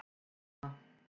Ha ha!